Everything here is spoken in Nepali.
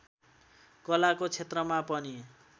कलाको क्षेत्रमा पनि